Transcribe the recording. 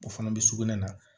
O fana bɛ sugunɛ na